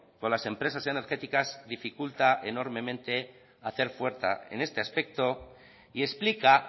con las empresas energéticas dificulta enormemente hacer fuerza en este aspecto y explica